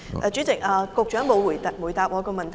主席，局長沒有回答我的問題。